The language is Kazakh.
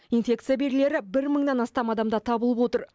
инфекция белгілері бір мыңнан астам адамда табылып отыр